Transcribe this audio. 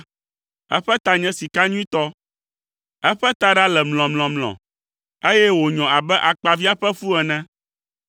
Eƒe ta nye sika nyuitɔ, eƒe taɖa le mlɔmlɔmlɔ, eye wònyɔ abe akpaviã ƒe fu ene.